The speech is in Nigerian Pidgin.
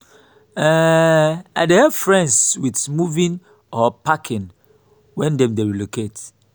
um i dey help friends with moving or packing wen dem dey relocate.